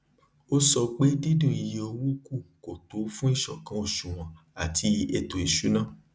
ó sọ pé dídún iye owó kù kò tó fún ìṣòkan òṣùwòn àti ètò ìṣùná